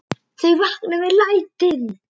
Þau vakna við lætin.